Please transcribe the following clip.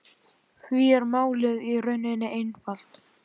Því er málið í rauninni einfalt